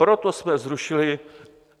Proto jsme zrušili...